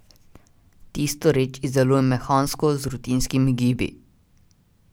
Tisto reč izdelujem mehansko, z rutinskimi gibi.